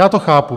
Já to chápu.